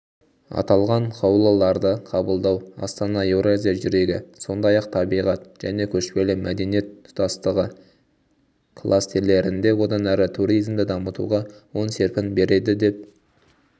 аталған қаулыларды қабылдау астана еуразия жүрегі сондай-ақ табиғат және көшпелі мәдениет тұтастығы кластерлерінде одан әрі туризмді дамытуға оң серпін береді деп